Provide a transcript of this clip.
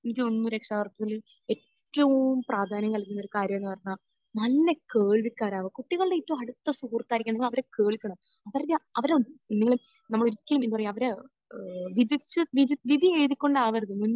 എനിക്ക് തോന്നുന്നു രക്ഷാകർതൃത്വത്തിൽ ഏറ്റവും പ്രാധാന്യം നൽകുന്ന കാര്യം എന്ന് പറഞ്ഞാൽ നല്ല കേൾവിക്കാരാകുക. കുട്ടികളുടെ ഏറ്റവും അടുത്ത സുഹൃത്തായിരിക്കണം. എന്നും അവരെ കേൾക്കണം. അവരുടെ അവരുടെ നമ്മൾ ഒരിക്കലും എന്താ പറയാ, അവരെ ഒരിക്കലും ഏഹ് വിധിച്ച് വിധി എഴുതിക്കൊണ്ടാവരുത് മുൻ